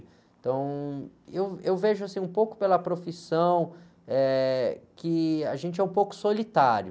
Então, e eu, eu vejo, assim, um pouco pela profissão, eh, que a gente é um pouco solitário.